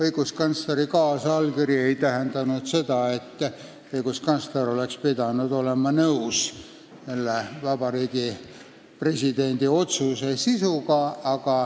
Õiguskantsleri kaasallkiri ei tähendanud seda, et õiguskantsler oleks pidanud olema nõus Vabariigi Presidendi otsuse sisuga.